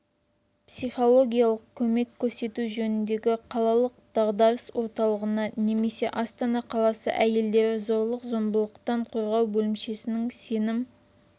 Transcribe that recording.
психологиялық көмек көрсету жөніндегі қалалық дағдарыс орталығына немесе астана қаласы әйелдерді зорлық-зомбылықтан қорғау бөлімшесінің сенім